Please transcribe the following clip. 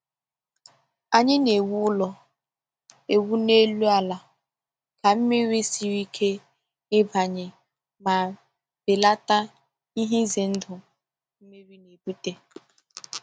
Anyị na-ewu ụlọ ewu n’elu ala ka mmiri siere ike ịbanye ma belata ihe ize ndụ mmiri na-ebute.